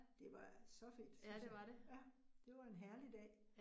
Det var så fedt synes jeg. Ja, det var en herlig dag